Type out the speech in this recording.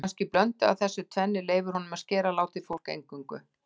Kannski blöndu af þessu tvennu sem leyfir honum að skera látið fólk eingöngu.